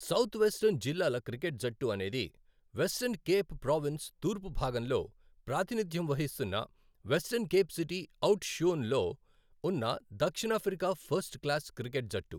South Western జిల్లాల cricket జట్టు అనేది వెస్ట్రన్ కేప్ ప్రావిన్స్ తూర్పు భాగంలో ప్రాతినిధ్యం వహిస్తున్న Western Cape city Oudtshoorn లో ఉన్న దక్షిణాఫ్రికా ఫస్ట్ క్లాస్ క్రికెట్ జట్టు.